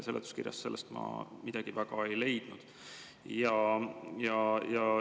Seletuskirjast ma selle kohta midagi väga ei leidnud.